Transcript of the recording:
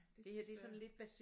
Desværre